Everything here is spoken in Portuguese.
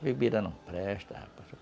A bebida não presta, rapaz.